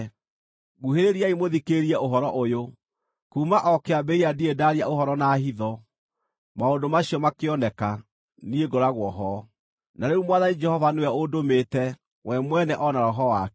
“Nguhĩrĩriai mũthikĩrĩrie ũhoro ũyũ: “Kuuma o kĩambĩrĩria ndirĩ ndaaria ũhoro na hitho; maũndũ macio makĩoneka, niĩ ngoragwo ho.” Na rĩu Mwathani Jehova nĩwe ũndũmĩte, we mwene o na Roho wake.